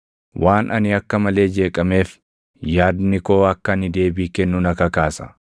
“Waan ani akka malee jeeqameef, yaadni koo akka ani deebii kennu na kakaasa.